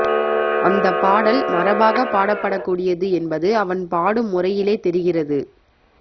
அந்தப் பாடல் மரபாகப் பாடப்படக்கூடியது என்பது அவன் பாடும் முறையிலே தெரிகிறது